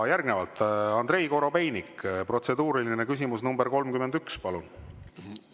Järgnevalt Andrei Korobeinik, protseduuriline küsimus nr 31, palun!